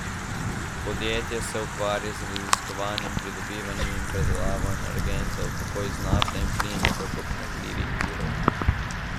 Podjetje se ukvarja z raziskovanjem, pridobivanjem in predelavo energentov, tako iz nafte in plina kot obnovljivih virov.